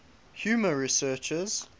humor researchers